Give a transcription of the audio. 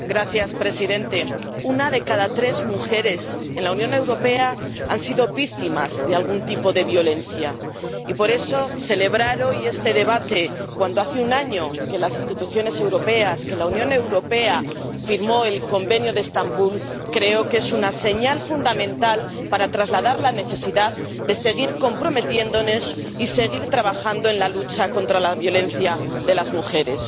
Señor presidente, una de cada tres mujeres en la Unión Europea ha sido víctima de algún tipo de violencia, y, por eso, celebrar hoy este debate, cuando hace un año que la Unión Europea firmó el Convenio de Estambul, creo que es una señal fundamental para trasladar la necesidad de seguir comprometiéndonos y seguir trabajando en la lucha contra la violencia contra las mujeres.